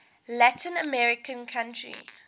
latin american country